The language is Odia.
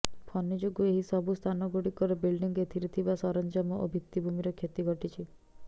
ଫନି ଯୋଗୁଁ ଏହି ସବୁ ସ୍ଥାନଗୁଡ଼ିକର ବିଲ୍ଡିଂ ଏଥିରେ ଥିବା ସରଞ୍ଜାମ ଓ ଭିତିଭୂମିର କ୍ଷତି ଘଟିଛି